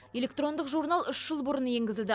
электрондық журнал үш жыл бұрын енгізілді